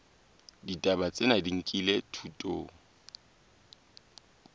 ditaba tsena di nkilwe thutong